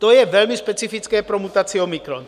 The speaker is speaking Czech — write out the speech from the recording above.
To je velmi specifické pro mutaci omikron.